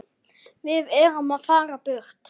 Við erum að fara burt.